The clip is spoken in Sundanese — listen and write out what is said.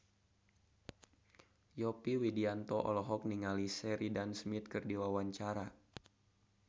Yovie Widianto olohok ningali Sheridan Smith keur diwawancara